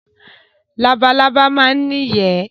Labalábá máa ń ní ìyẹ́.